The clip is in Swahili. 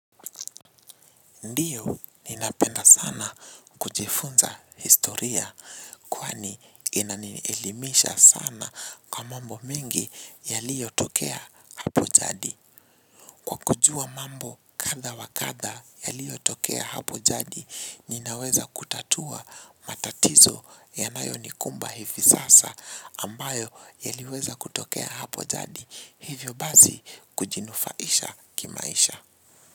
Ndiyo ninapenda sana kujifunza historia kwani inanielimisha sana kwa mambo mingi yaliyo tokea hapo jadi. Kujua mambo katha wa katha yaliyo tokea hapo jadi ninaweza kutatua matatizo ya nayo nikumba hivi sasa ambayo yaliweza kutokea hapo jadi hivyo bazi kujinufaisha kimaisha.